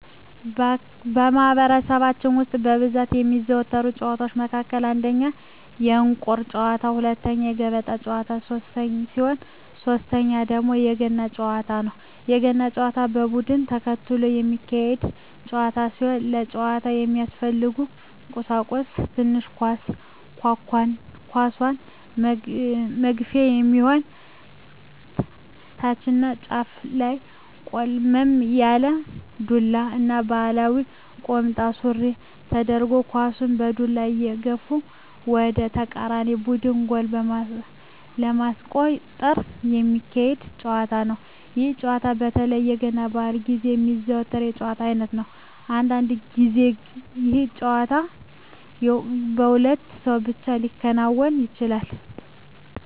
በማህበረሰባችን ውስጥ በብዛት ከሚዘወተሩ ጨዋታወች መካከል አንደኛ የእንቁር ጨዋታ፣ ሁለተኛ የገበጣ ጨዋታ ሲሆን ሶተኛው ደግሞ የገና ጨዋታ ነው። የገና ጨዋታ በቡድን ተከፍሎ የሚካሄድ ጨዋታ ሲሆን ለጨዋታው የሚያስፈልጉ ቀሳቁሶች ትንሽ ኳስ፣ ኳሷን መግፊያ የሚሆን ታችኛው ጫፉ ላይ ቆልመም ያለ ዱላ እና ባህላዊ ቁምጣ ሱሪ ተደርጎ ኳሳን በዱላ እየገፉ ወደ ተቃራኒ ቡድን ጎል በማስቆጠር ሚካሄድ ጨዋታ ነው። ይህ ጨዋታ በተለይ የገና በአል ግዜ የሚዘወተር የጨዋታ አይነት ነው። አንዳንድ ግዜ ይህ ጨዋታ በሁለት ሰው ብቻ ሊከናወን ይችላል።